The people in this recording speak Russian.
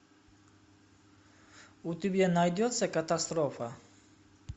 у тебя найдется катастрофа